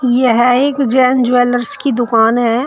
यह एक जैन ज्वेलर्स की दुकान है।